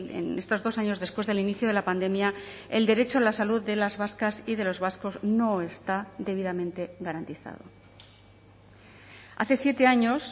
en estos dos años después del inicio de la pandemia el derecho a la salud de las vascas y de los vascos no está debidamente garantizado hace siete años